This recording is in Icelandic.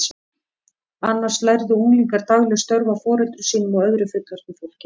Annars lærðu unglingar dagleg störf af foreldrum sínum og öðru fullorðnu fólki.